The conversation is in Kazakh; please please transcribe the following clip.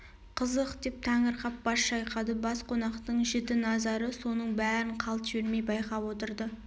қызық деп таңырқап бас шайқады бас қонақтың жіті назары соның бәрін қалт жібермей байқап отырды